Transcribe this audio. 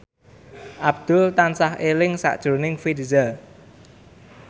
Abdul tansah eling sakjroning Virzha